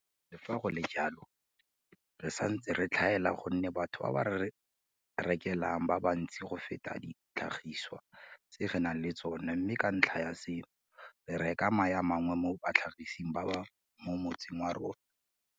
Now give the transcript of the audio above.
Le fa go le jalo, re santse re tlhaela gonne batho ba ba re rekelang ba bantsi go feta ditlhagisiwa tse re nang le tsona mme ka ntlha ya seno, re reka mae a mangwe mo batlhagiseng ba mo motseng wa rona.